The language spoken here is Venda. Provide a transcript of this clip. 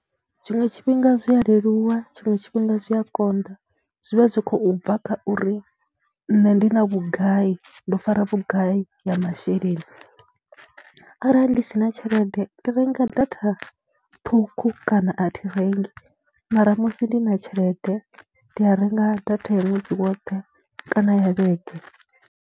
Tshiṅwe tshifhinga zwi a leluwa, tshiṅwe tshifhinga zwi a konḓa, zwi vha zwi khou bva kha uri nṋe ndi na vhugai, ndo fara vhugai ya masheleni arali ndi si na tshelede ndi renga data ṱhukhu kana a thi rengi mara musi ndi na tshelede ndi a renga data ya ṅwedzi woṱhe kana ya vhege.